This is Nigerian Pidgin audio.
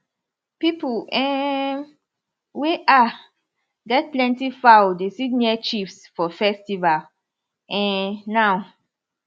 people um wey um get plenty fowl dey sit near chiefs for festival um now